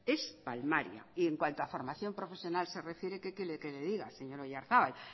es palmaria y en cuanto a formación profesional se refiere qué quiere que le diga señor oyarzabal